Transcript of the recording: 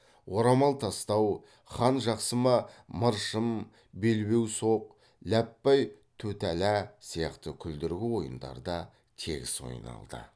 орамал тастау хан жақсы ма мыршым белбеу соқ ләппай тутәлә сияқты күлдіргі ойындар да тегіс ойналды